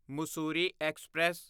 Mussoorie express